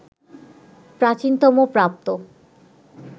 প্রাচীনতম প্রাপ্ত